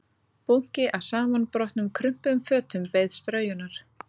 Bunki af samanbrotnum krumpuðum fötum beið straujunar